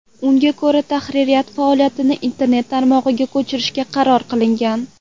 Unga ko‘ra, tahririyat faoliyatini internet tarmog‘iga ko‘chirishga qaror qilingan.